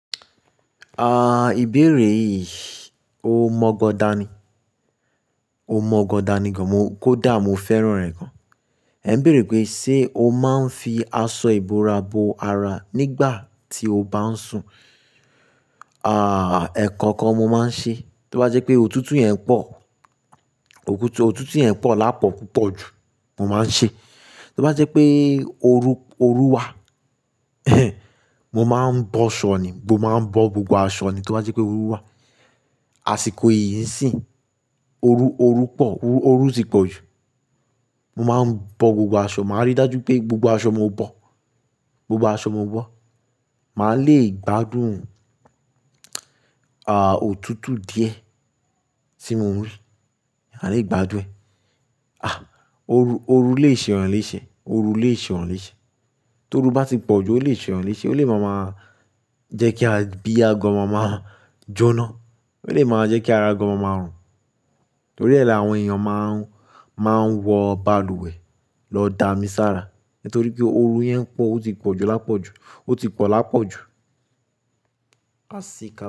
Ah, ìbéèrè yìí, ó mọ́ gọdá ni. Ó mọ́ gọdá ni gan. Mo kódà mo fẹ́ràn rẹ̀ gan. Ẹ ń béèrè pé, se o máa ń fi aṣọ ìbora bo ara nígbà tí o bá ń sùn? Ah, ẹ̀kọ̀ kan mo máa ń ṣe, tó bá jẹ́ pé òtútù yẹn pọ̀, òtútù yẹn pọ̀ lápọ̀ púpọ̀ ju, mo máa ń ṣe. Tó bá jẹ́ pé oru, oru wà, mo máa ń bọ́ ṣọ ni, mo máa ń bọ́ gbogbo aṣọ ni tó bá jẹ́ pé oru wà. Àsìkò yìí sì n, oru, oru pọ̀, oru tì pọ̀ jù. Mo máa ń bọ́ gbogbo aṣọ, màá rí dájú pé gbogbo aṣọ mo bọ́, gbogbo aṣọ mo bọ́. Màá lè gbádùn, ah, òtútù díẹ̀ tí mo ń rí. A lè gbádùn ẹ̀. Ah, oru, oru lè ṣe eeyan léṣe. Oru lè ṣe ẹran léṣe. Toru bá ti pọ̀ jù, ó lè ṣe eeyan léṣe, ó lè máa máa jẹ́ kí abia gan máa máa jóná. Ó lè máa jẹ́ kí ara gan máa máa rùn. Torí ẹ́ la àwọn èèyàn máa ń, máa ń wọ balùwẹ̀ lọ da misára. Nítorí pé oru yẹn pọ̀, ó ti pọ̀ jù lápọ̀ jù, ó ti pọ̀ lápọ̀ jù. Asíka.